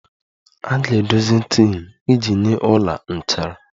A ga-edozi tin iji nye ọla nchara